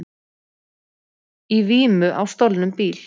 Í vímu á stolnum bíl